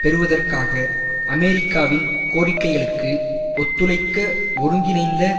பெறுவதற்காக அமெரிக்காவின் கோரிக்கைகளுக்கு ஒத்துழைக்க ஒருங்கிணைந்த